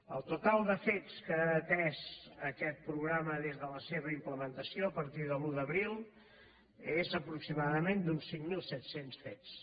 el total de fets que ha atès aquest programa des de la seva implementació a partir de l’un d’abril és aproximadament d’uns cinc mil set cents fets